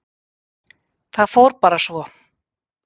Það fór bara svo.